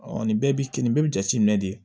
nin bɛɛ bi kenin bɛɛ bi jate minɛ de